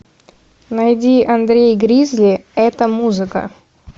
найди андрей гризли эта музыка